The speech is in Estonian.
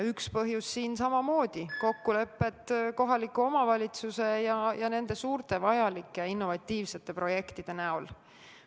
Üks põhjus on siin samamoodi see, et puuduvad kokkulepped kohaliku omavalitsuse ja nende suurte, vajalike ja innovatiivsete projektide algatajate vahel.